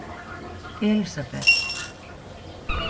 Elísabet